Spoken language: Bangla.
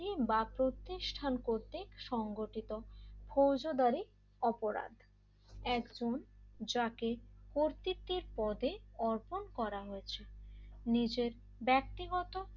বা প্রতিষ্ঠান করতে সংঘটিত ফৌজদারি অপরাধ একজন যাকে কর্তৃত্বের পদে অর্পণ করা হয়েছে নিজের ব্যক্তিগত